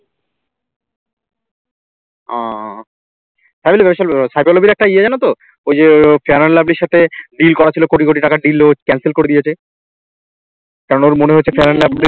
ও phycoloby র একটা ইয়ে জানো তো ওই যে fair and lovely র সাথে deal করা ছিল কোটি কোটি টাকার deal ছিল cancel করে দিয়েছে কারণ ওর মনে হয়েছে fair and lovely র